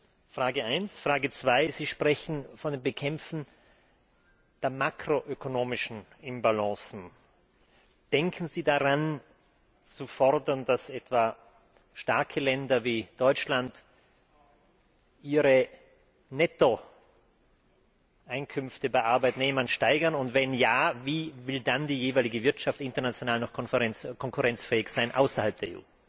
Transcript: Meine zweite Frage Sie sprechen vom Bekämpfen der makroökonomischen Imbalancen Denken Sie daran, zu fordern, dass etwa starke Länder wie Deutschland ihre Nettoeinkünfte bei Arbeitnehmern steigern, und wenn ja, wie will dann die jeweilige Wirtschaft international noch konkurrenzfähig sein außerhalb der